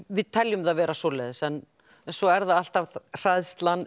við teljum það vera svoleiðis en svo er það alltaf hræðslan